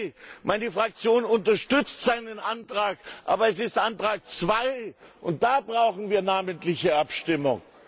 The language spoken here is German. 2. Meine Fraktion unterstützt seinen Antrag, aber es ist Antrag 2, und da brauchen wir eine namentliche Abstimmung.